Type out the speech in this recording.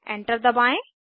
enter दबाएं